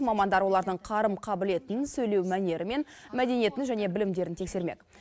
мамандар олардың қарым қабілетін сөйлеу мәнері мен мәдениетін және білімдерін тексермек